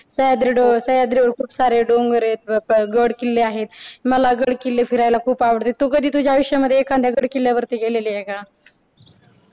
सह्याद्री डों अह सह्याद्री वर खूप सारे डोंगर आहेत. गड किल्ले आहे. मला गड-किल्ले फिरायला खूप आवडतात. तू कधी तुझ्या आयुष्यामध्ये एखाद्या गड किल्ल्यावर ती गेलेली आहे का?